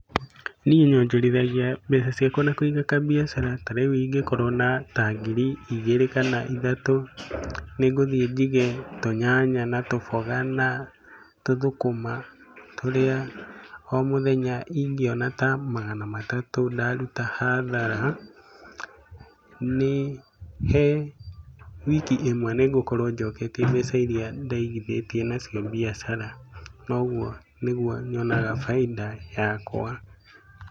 Niĩ nyonjorithagia mbeca ciakwa na kũiga kambiacara. Ta rĩu ingĩkora na ta ngiri igĩrĩ kana ithatũ, ningũthiĩ njige tũnyanya na tũboga na tũthũkũma tũrĩa mũthenya ingĩona ta magana matatũ ndaruta hathara, nĩ he wiki ĩmwe nĩ ngũkorwo njoketie mbeca irĩa ndaigithĩtie na cio mbiacara, na ũguo nĩguo nyonaga bainda yakwa.